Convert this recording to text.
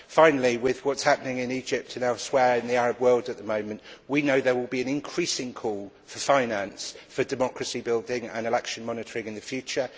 Finally, with what is happening in Egypt and elsewhere in the Arab world at the moment, we know there will be an increasing call for finance for democracy building and election monitoring in the future.